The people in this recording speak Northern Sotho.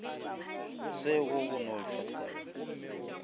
se go go no šwahlela